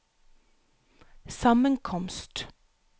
sammenkomst